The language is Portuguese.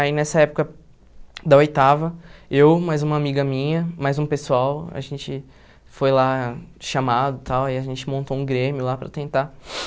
Aí nessa época da oitava, eu, mais uma amiga minha, mais um pessoal, a gente foi lá chamado e tal, aí a gente montou um Grêmio lá para tentar